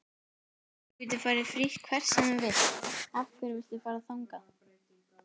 Þú getur farið frítt hvert sem þú vilt, af hverju viltu fara þangað?